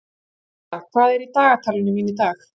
Kata, hvað er í dagatalinu mínu í dag?